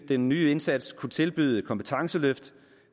den nye indsats kunne tilbyde kompetenceløft